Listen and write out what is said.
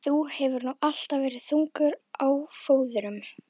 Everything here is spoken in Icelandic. Þú hefur nú alltaf verið þungur á fóðrum.